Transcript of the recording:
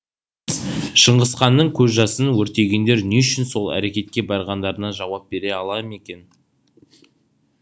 шыңғысханның көз жасын өртегендер не үшін сол әрекетке барғандарына жауап бере ала ма екен